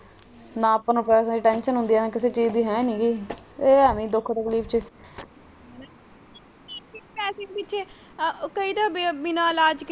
ਪੈਸੇ ਪਿੱਛੇ ਕਈ ਤਾਂ ਬਿਨਾਂ ਇਲਾਜ।